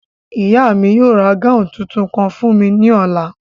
Ìyá mi yóò ra gáùn tuntun kan fún mi ní ọ̀la